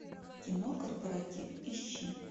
кино корпоратив ищи